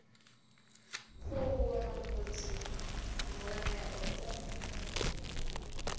khuvhuwa mavhadzi mvun eo u